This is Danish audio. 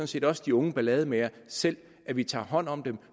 set også de unge ballademagere selv at vi tager hånd om dem